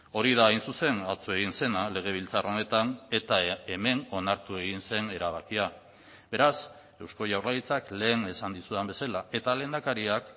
hori da hain zuzen atzo egin zena legebiltzar honetan eta hemen onartu egin zen erabakia beraz eusko jaurlaritzak lehen esan dizudan bezala eta lehendakariak